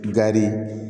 Gari